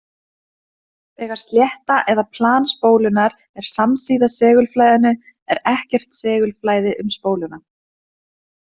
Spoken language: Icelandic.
Þegar slétta eða plan spólunnar er samsíða segulflæðinu er ekkert segulflæði um spóluna.